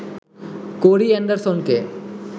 কোরি এণ্ডারসনকে